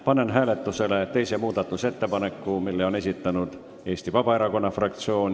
Panen hääletusele teise muudatusettepaneku, mille on esitanud Eesti Vabaerakonna fraktsioon.